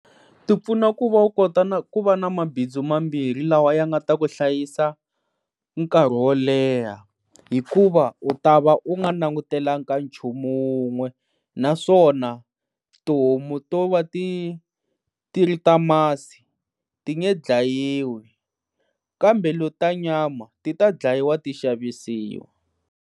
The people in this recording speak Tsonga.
Ti pfuna ku va u kota na ku va na mabindzu mambirhi lawa ya nga ta ku hlayisa nkarhi wo leha hikuva u ta va u nga langutelanga ka nchumu wun'we naswona tihomu to va ti ti ri ta masi ti nge dlayiwi kambe leti ta nyama ti ta dlayiwa ti xavisiwa.